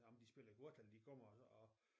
Om de spiller kort eller de kommer og